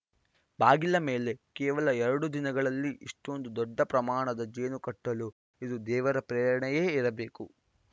ಬಾಗಿಲ ಮೇಲೆ ಕೇವಲ ಎರಡು ದಿನಗಳಲ್ಲಿ ಇಷ್ಟೊಂದು ದೊಡ್ಡ ಪ್ರಮಾಣದ ಜೇನು ಕಟ್ಟಲು ಇದು ದೇವರ ಪ್ರೇರಣೆಯೇ ಇರಬೇಕು